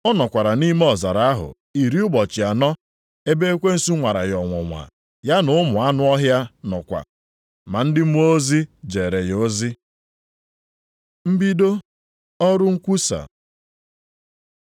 Ọ nọkwara nʼime ọzara ahụ iri ụbọchị anọ, ebe ekwensu nwara ya ọnwụnwa. Ya na ụmụ anụ ọhịa nọkwa. Ma ndị mmụọ ozi jeere ya ozi. Mbido ọrụ nkwusa